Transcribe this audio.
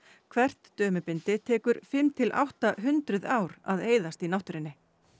hvert dömubindi tekur fimm til átta hundruð ár að eyðast í náttúrunni